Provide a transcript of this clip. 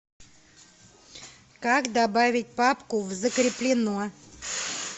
как добавить папку в закреплено